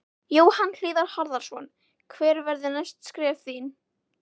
Jóhann Hlíðar Harðarson: Hver verða næstu skref þín?